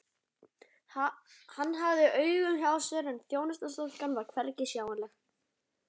Hann hafði augun hjá sér en þjónustustúlkan var hvergi sjáanleg.